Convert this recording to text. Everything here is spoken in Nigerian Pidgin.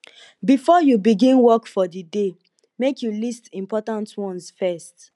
before you begin work for di day make you list important ones first